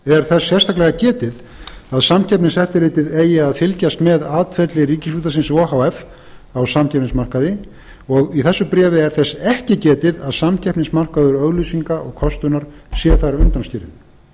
er þess sérstaklega getið að samkeppniseftirlitið eigi að fylgjast með atferli ríkisútvarpsins o h f á samkeppnismarkaði og í þessu bréfi er þess ekki getið að samkeppnismarkaður auglýsinga og kostunar sé þar undanskilinn